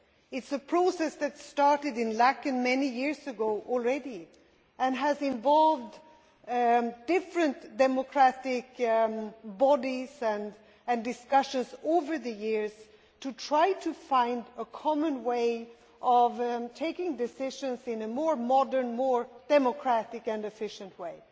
It is a process that started in Laeken many years ago and has involved different democratic bodies and discussions over the years to try to find a common way of taking decisions in a more modern, more democratic and efficient way.